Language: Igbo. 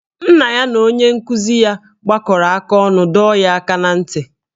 Nna ya na onye nkụzi ya gbakọrọ aka ọnụ dọọ ya aka ná ntị